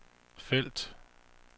felt